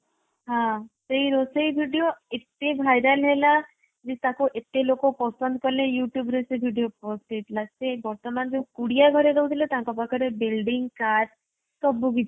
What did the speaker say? ହଁ ସେଇ ରୋଷେଇ video ଏତେ viral ହେଲା କି ତାକୁ ଏତେ ଲୋକ ପସନ୍ଦ କଲେ youtube ରେ ସେ video ପହଞ୍ଚି ଯାଇଥିଲା। ସେ ବର୍ତମାନ ଯୋଉ କୁଡିଆ ଘରେ ରହୁଥିଲେ ତାଙ୍କ ପାଖରେ building car ସବୁ କିଛି